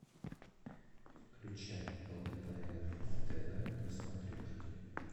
включай лдпр тв на смотрешке